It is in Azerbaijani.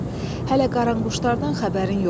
Hələ qaranquşlardan xəbərin yoxdur.